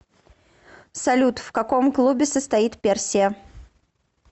салют в каком клубе состоит персия